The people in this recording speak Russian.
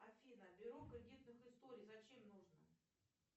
афина бюро кредитных историй зачем нужно